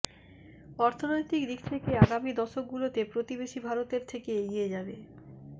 অর্থনৈতিক দিক থেকে আগামী দশকগুলোতে প্রতিবেশী ভারতের থেকে এগিয়ে যাবে